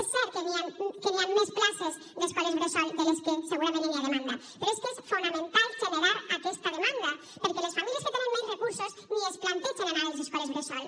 és cert que hi han més places d’escoles bressol de les que segurament n’hi ha demanda però és que és fonamental generar aquesta demanda perquè les famílies que tenen menys recursos ni es plantegen anar a les escoles bressol